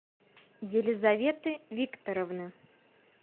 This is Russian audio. елизаветы викторовны